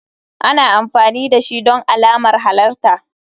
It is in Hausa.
Ana amfani dashi don alamar halarta.